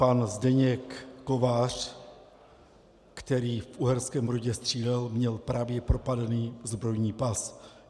Pan Zdeněk Kovář, který v Uherském Brodě střílel, měl právě propadlý zbrojní pas.